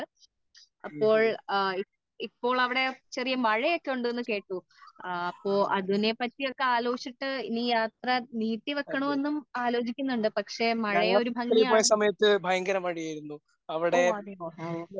അപ്പോൾ ഇപ്പോൾ അവിടെ ചെറിയ മഴ ഒക്കെ ഉണ്ടെന്ന് കേട്ടു ആ ആപ്പോ അതിനെ പറ്റി ഒക്കെ ആലോചിച്ചിട്ട് ഈ യാത്ര നീട്ടി വെക്കണോ എന്നൊക്കെ ആലോചിക്കുന്നുണ്ട് പക്ഷേ മഴ ഒരു ഭംഗി ആണല്ലോ ഓ അതെയോ ഓ